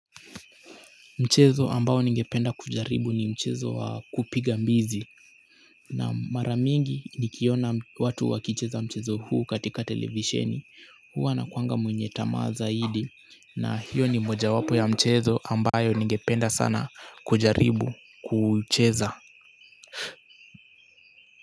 Mchezo ambao ningependa kujaribu ni mchezo wa kupiga mbizi naam mara mingi nikiona watu wakicheza mchezo huu katika televisheni huwa nakuanga mwenye tamaa zaidi na hiyo ni moja wapo ya mchezo ambayo ningependa sana kujaribu kucheza.